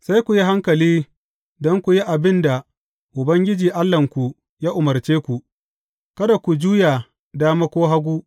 Sai ku yi hankali don ku yi abin da Ubangiji Allahnku ya umarce ku; kada ku juya dama ko hagu.